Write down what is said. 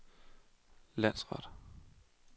landsret